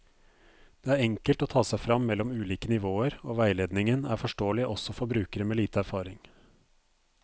Det er enkelt å ta seg frem mellom ulike nivåer, og veiledningen er forståelig også for brukere med lite erfaring.